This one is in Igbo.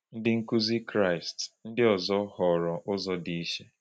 Ndị nkuzi Kraịst ndị ọzọ họọrọ ụzọ dị iche.